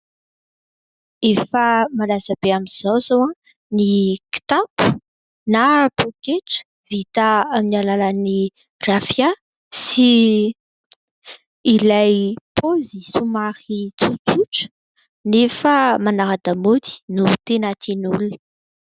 Efa malaza be amin'izao izao ny kitapo na pôketra vita amin'ny alalan'ny rafia sy ilay paozy somary tsotsotra nefa manara-damaody no tena tian'ny olona.